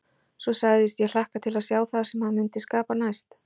Svo sagðist ég hlakka til að sjá það sem hann mundi skapa næst.